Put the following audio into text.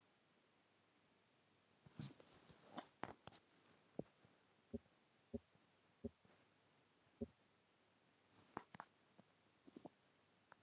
En hvað sögðu fundargestir um sérstöðu Vestfjarða?